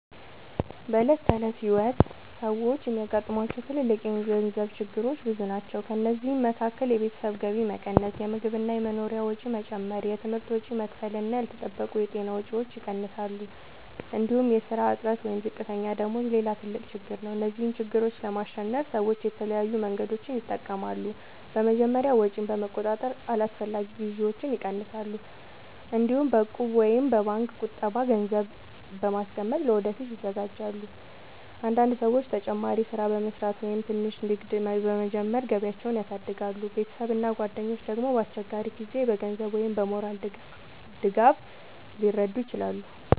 በዕለት ተዕለት ሕይወት ሰዎች የሚያጋጥሟቸው ትልልቅ የገንዘብ ችግሮች ብዙ ናቸው። ከእነዚህ መካከል የቤተሰብ ገቢ መቀነስ፣ የምግብ እና የመኖሪያ ወጪ መጨመር፣ የትምህርት ወጪ መክፈል እና ያልተጠበቁ የጤና ወጪዎች ይጠቀሳሉ። እንዲሁም የሥራ እጥረት ወይም ዝቅተኛ ደመወዝ ሌላ ትልቅ ችግር ነው። እነዚህን ችግሮች ለማሸነፍ ሰዎች የተለያዩ መንገዶችን ይጠቀማሉ። በመጀመሪያ ወጪን በመቆጣጠር አላስፈላጊ ግዢዎችን ይቀንሳሉ። እንዲሁም በእቁብ ወይም በባንክ ቁጠባ ገንዘብ በማስቀመጥ ለወደፊት ይዘጋጃሉ። አንዳንድ ሰዎች ተጨማሪ ሥራ በመስራት ወይም ትንሽ ንግድ በመጀመር ገቢያቸውን ያሳድጋሉ። ቤተሰብ እና ጓደኞች ደግሞ በአስቸጋሪ ጊዜ በገንዘብ ወይም በሞራል ድጋፍ ሊረዱ ይችላሉ።